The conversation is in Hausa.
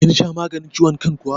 Kin sha maganin ciwon kan kuwa?